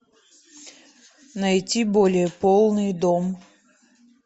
найти более полный дом